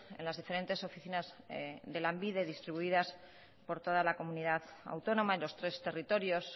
en las diferentes oficinas de lanbide distribuidas por toda la comunidad autónoma en los tres territorios